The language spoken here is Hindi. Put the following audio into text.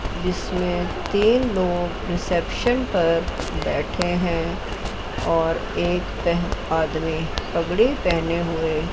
इसमें तीन लोग रिसेप्शन पर बैठे हैं और एक आदमी पगड़ी पहने हुए--